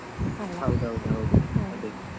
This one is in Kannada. ಹೌದೌದು ಹೌದು ಹೌದು ಅದೇ.